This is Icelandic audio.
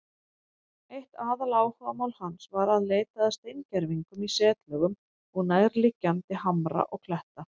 Eitt aðaláhugamál hans var að leita að steingervingum í setlögum nærliggjandi hamra og kletta.